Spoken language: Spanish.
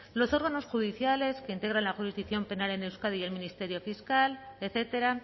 los órganos judiciales que integran la jurisdicción penal en euskadi y el ministerio fiscal etcétera